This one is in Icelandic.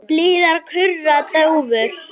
Blíðar kurra dúfur.